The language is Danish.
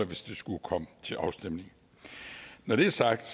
hvis det skulle komme til afstemning når det er sagt